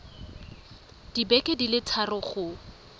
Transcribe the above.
dibeke di le thataro go